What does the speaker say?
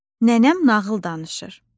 Nənəm nağıl danışır.